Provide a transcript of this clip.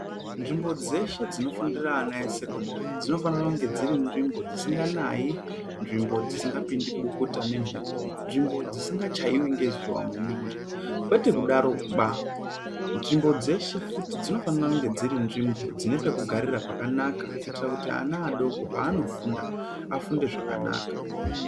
Nzvimbo dzeshe zvinofundira ana esekondari dzinofanira kunge dziri nzvimbo dzisinganayi nzvimbo dzisingapindi bukuta nemhepo nzvimbo dzisingachaiwi ngezuwa maningi. Kwete kudaroba, nzvimbo dzeshe futi, dzinofanira kunge dziri nzvimbo dzine pekugarira pakanaka kuitira kuti ana adoko paanofunda, afunde zvakanaka.